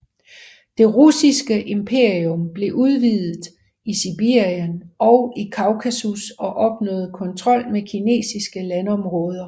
Det russiske imperium blev udvidet i Sibirien og i Kaukasus og opnåede kontrol med kinesiske landområder